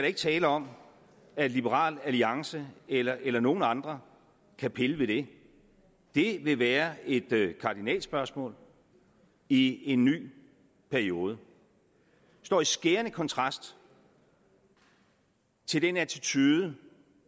ikke tale om at liberal alliance eller eller nogen andre kan pille ved det det vil være et kardinalspørgsmål i en ny periode det står i skærende kontrast til den attitude